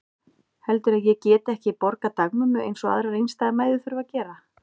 Heldurðu að ég geti ekki borgað dagmömmu eins og aðrar einstæðar mæður þurfa að gera?